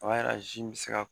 A b'a ykra zu in bɛ se ka